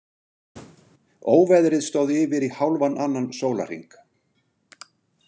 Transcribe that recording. Óveðrið stóð yfir í hálfan annan sólarhring.